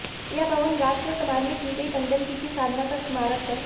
यह भवन राष्ट्र और समाज में की गई टंडनजी की साधना का स्मारक है